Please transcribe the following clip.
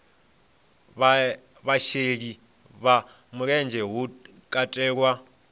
vhasheli vha mulenzhe hu katelwa